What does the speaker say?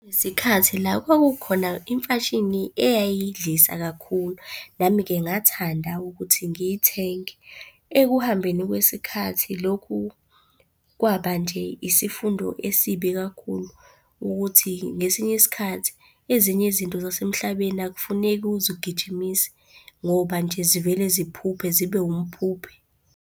Isikhathi la kwakukhona imfashini eyayidlisa kakhulu, nami-ke ngathanda ukuthi ngiyithenge. Ekuhambeni kwesikhathi lokhu kwaba nje isifundo esibi kakhulu, ukuthi ngesinye isikhathi ezinye izinto zasemhlabeni akufuneki uzigijimise ngoba nje zivele ziphuphe zibe umphuphe.